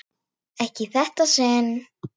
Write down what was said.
Ekki í þetta sinn.